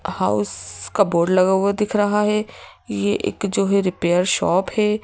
House का board लगा हुआ दिख रहा है ये एक जो है रिपेयर शॉप है।